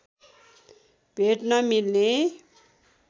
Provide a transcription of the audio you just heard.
भेट्न मिल्ने